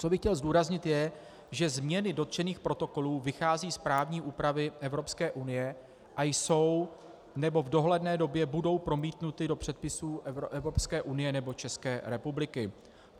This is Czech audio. Co bych chtěl zdůraznit, je, že změny dotčených protokolů vycházejí z právní úpravy Evropské unie a jsou nebo v dohledné době budou promítnuty do předpisů Evropské unie nebo České republiky.